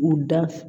U da